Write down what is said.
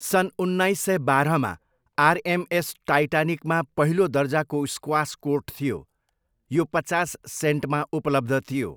सन् उन्नाइस सय बाह्रमा आर एम एस टाइटानिकमा पहिलो दर्जाको स्क्वास कोर्ट थियो, यो पचास सेन्टमा उपलब्ध थियो।